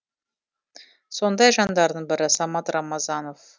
сондай жандардың бірі самат рамазанов